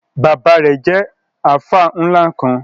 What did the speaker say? Bábà rẹ̀ jẹ̀ alfa nla kan.